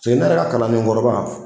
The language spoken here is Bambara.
ne yɛrɛ ka kalanden kɔrɔba